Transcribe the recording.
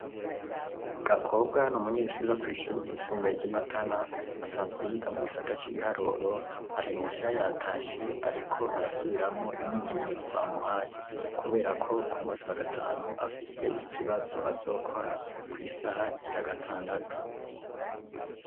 Gakobwa n’umunyeshure wokw’ishure ryisumbuye ry’i matana asanzwe yiga mu gisata c’ibiharuro ari muhira yatashe ariko arasubiramwo imyimenyerezo bamuhaye ,kuberako kumunsi wagatanu afise ikibazo azokora kw’isaha igira gatandatu.